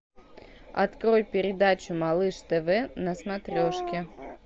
открой передачу малыш тв на смотрешке